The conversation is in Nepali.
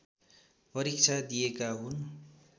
परीक्षा दिएका हुन्